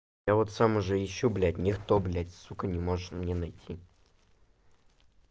я вот сам уже ищу блять никто блять сука не может мне найти